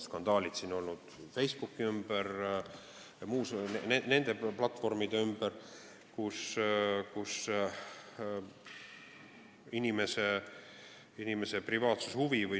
Skandaale on olnud Facebooki ja nende platvormide ümber.